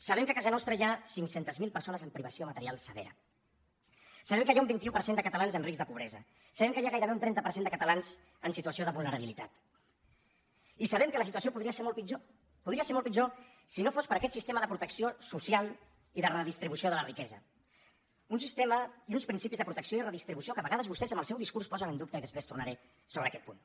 sabem que a casa nostra hi ha cinc cents miler persones amb privació material severa sabem que hi ha un vint un per cent de catalans en risc de pobresa sabem que hi ha gairebé un trenta per cent de catalans en situació de vulnerabilitat i sabem que la situació podria ser molt pitjor podria ser molt pitjor si no fos per aquest sistema de protecció social i de redistribució de la riquesa un sistema i uns principis de protecció i redistribució que a vegades vostès amb el seu discurs posen en dubte i després tornaré a aquest punt